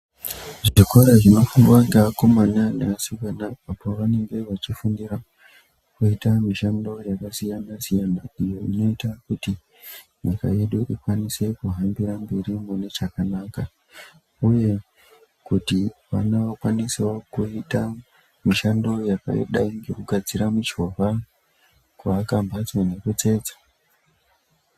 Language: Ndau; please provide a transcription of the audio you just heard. Zvikora zvinofundwa neakomana neasikana apo vanenge vachifundira kuite mishando yakasiyanasiyana iyo inoita kuti nyika yedu ikwanise kuhambire mberi mune chakanaka uye kuti vana vakwanisewo kuite mishando yakadai ngekugadzire michovha kuakamhatso nekutsetsa.